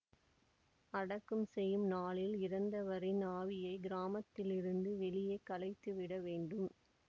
அடக்கம் செய்யும் நாளில் இறந்தவரின் ஆவியை கிராமத்திலிருந்து வெளியே கலைத்து விட வேண்டும்